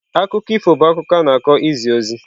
Akụkọ ifo bụ akụkọ a na-akọ izi ozi.